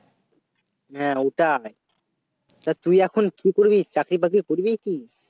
হ্যাঁ ওটাই তা তুই এখন কি করবি চাকরি বাকরি করবি কি